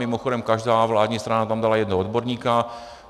Mimochodem každá vládní strana tam dala jednoho odborníka.